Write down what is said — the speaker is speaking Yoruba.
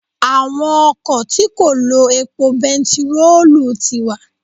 Àwọn ọkọ̀ tí kò lo epo bentiroolu ti wà.